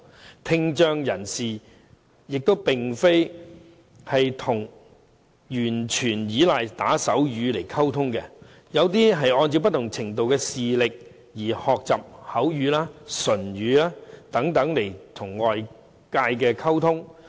而聽障人士也並非完全依賴打手語來溝通，有些人會按不同程度的聽力而學習口語和唇語等與外界溝通。